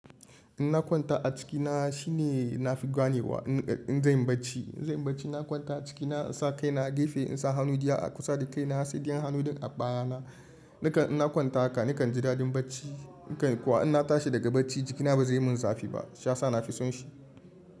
In na kwanta a ciki na shine na fi ganewa in zan yi bacci. In zan yi bacci na kwanta a ciki na, in sa kai na gefe, in sa hannu giya a kusa da kai na sai tsintsiyan hannu duk a baya na. Nikan in na kwanta haka nikan ji daɗin bacci. A kan kuwa in na tashi daga bacci jikina ba zai mun zafi ba. Shiya sa na fi son shi.